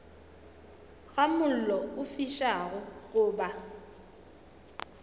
ga mollo o fišago goba